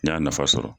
N y'a nafa sɔrɔ